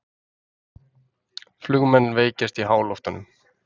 Flugmenn veikjast í háloftunum